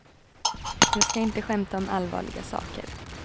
Jag ska inte skämta om allvarliga saker.